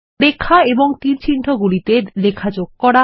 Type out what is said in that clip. রেখা এবং তীরচিহ্নগুলি তে লেখা যোগ করা